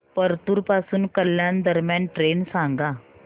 परतूर पासून कल्याण दरम्यान ट्रेन सांगा